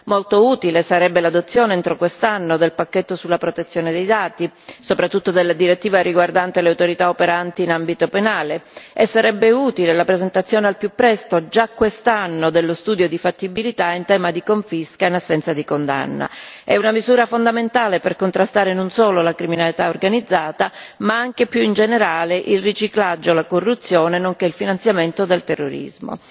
Molto utile sarebbe l'adozione, entro quest'anno, del pacchetto sulla protezione dei dati, soprattutto della direttiva riguardante le autorità operanti in ambito penale, e altrettanto utile sarebbe la presentazione al più presto, già quest'anno, dello studio di fattibilità in tema di confisca in assenza di condanna. È una misura fondamentale per contrastare non solo la criminalità organizzata, ma anche, più in generale, il riciclaggio, la corruzione, nonché il finanziamento del terrorismo.